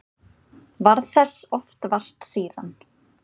Varð þess oft vart síðan.